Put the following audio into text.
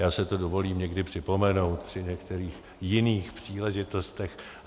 Já si to dovolím někdy připomenout při některých jiných příležitostech.